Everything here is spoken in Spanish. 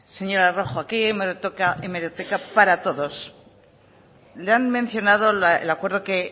señora rojo aquí hay hemeroteca para todos le han mencionado el acuerdo que